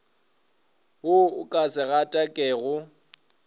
wo o ka se gatakego